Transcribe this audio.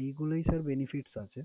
এইগুলোই sir benefits আছে।